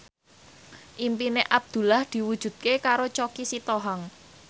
impine Abdullah diwujudke karo Choky Sitohang